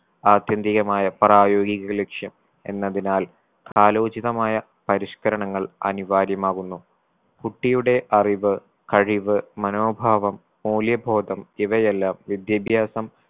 ആത്യന്തികമായ പ്രായോഗിക ലക്ഷ്യം എന്നതിനാൽ കാലോചിതമായ പരിഷ്‌കരണങ്ങൾ അനിവാര്യമാകുന്നു. കുട്ടിയുടെ അറിവ് കഴിവ് മനോഭാവം മൂല്യബോധം ഇവയെല്ലാം വിദ്യാഭ്യാസം